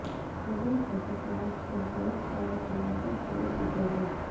حضرت حاجی صاحب سے بیعت اور خلافت و اجازت